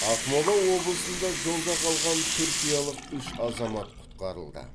ақмола облысында жолда қалған түркиялық үш азамат құтқарылды